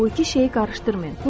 Bu iki şeyi qarışdırmayın.